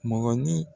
Mɔgɔnin